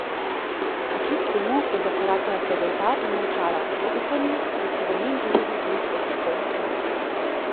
A kljub temu je zakorakala pred oltar in molčala, v upanju, da si bo njen ljubi poiskal strokovno pomoč.